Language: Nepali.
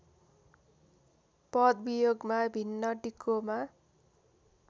पदवियोगमा भिन्न डिकोमा